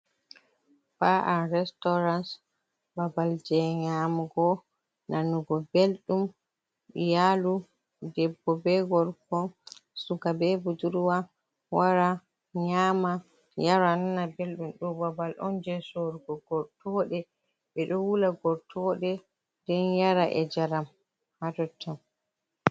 Ba’an restauranc. babal je nyamugo, nanugo belɗum. Iyalu, ɗebbo be gorko, suka be bujurwa wara nyaama, yara, nana belɗum. Ɗo babal on je sorugo gortoɗe be ɗo wula gortoɗe ɗen yara e jaram ha tottan.